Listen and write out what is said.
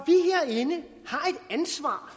ansvar